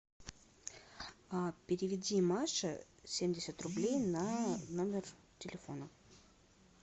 переведи маше семьдесят рублей на номер телефона